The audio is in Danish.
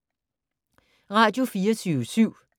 Radio24syv